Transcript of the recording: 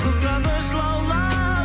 қызғаныш лаулап